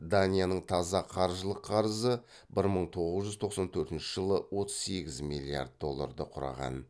данияның таза қаржылық қарызы бір мың тоғыз жүз тоқсан төртінші жылы отыз сегіз миллиард долларды құраған